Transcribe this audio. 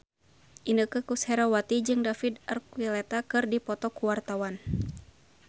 Inneke Koesherawati jeung David Archuletta keur dipoto ku wartawan